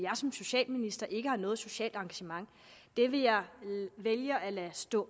som socialminister ikke har noget socialt engagement det vil jeg vælge at lade stå